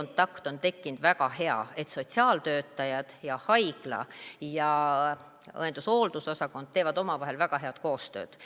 on tekkinud väga hea kontakt, sotsiaaltöötajad, haigla ja õendushoolduse osakond teevad väga head koostööd.